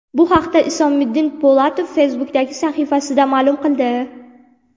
Bu haqda Isomiddin Po‘latov Facebook’dagi sahifasida ma’lum qildi .